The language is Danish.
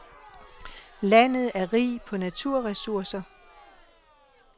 Landet er rig på naturressourcer.